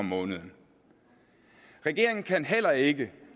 måneden regeringen kan heller ikke